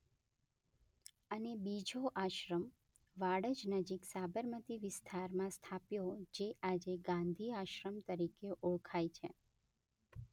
અને બીજો આશ્રમ વાડજ નજીક સાબરમતી વિસ્તારમાં સ્થાપ્યો જે આજે ગાંધી આશ્રમ તરીકે ઓળખાય છે.